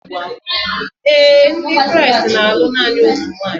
Ee e, Ndị Kraịst na-alụ naanị otu nwunye.